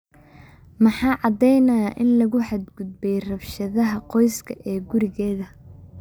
Maxaa caddaynaya in lagu xad-gudbay rabshadaha qoyska ee gurigeda?